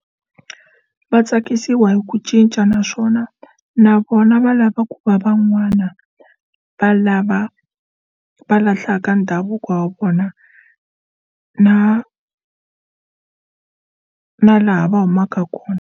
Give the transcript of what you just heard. Va tsakisiwa hi ku cinca naswona na vona va lava ku va van'wana va lava va lahlaka ndhavuko wa vona na na laha va humaka kona.